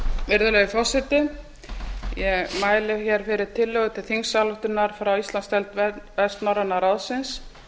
virðulegi forseti ég mæli hér fyrir tillögu til þingsályktunar grá íslandsdeild vestnorræna ráðsins